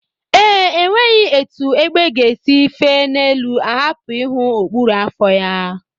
Ee, enweghị etu egbe si fee n'elu ahapụ ịhụ okpuru afọ ya